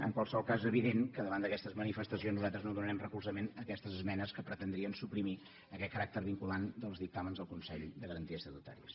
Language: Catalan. en qualsevol cas és evident que davant d’aquestes manifestacions nosaltres no donarem recolzament a aquestes esmenes que pretendrien suprimir aquest caràcter vinculant dels dictàmens del consell de garanties estatutàries